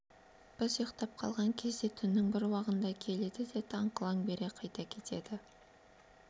біз ұйықтап қалған кезде түннің бір уағында келеді де таң қылаң бере қайта кетеді